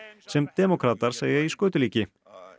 sem demókratar segja í skötulíki